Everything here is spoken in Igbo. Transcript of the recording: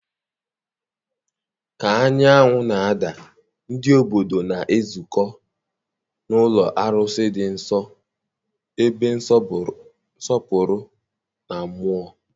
ka anyanwụ na-ada, ndị obodo na-ezukọ n'ụlọ arụsị dị nsọ, ebe nsọpụrụ na mmụọ.